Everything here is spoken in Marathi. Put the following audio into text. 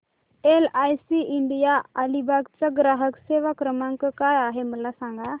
एलआयसी इंडिया अलिबाग चा ग्राहक सेवा क्रमांक काय आहे मला सांगा